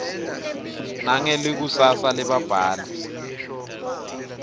nangelikusasa lebabhali